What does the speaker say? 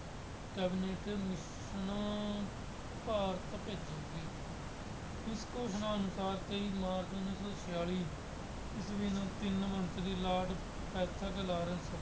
Cabinet commission Bharat ਭੇਜੇਗੀ। ਇਸ ਘੋਸ਼ਣਾ ਅਨੁਸਾਰ ਤੇਈ ਮਾਰਚ ਉੱਨੀ ਸੌ ਛਿਆਲੀ ਨੂੰ ਤਿੰਨ ਮੰਤਰੀ ਲਾਰਡ